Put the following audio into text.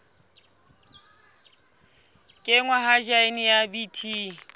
kenngwa ha jine ya bt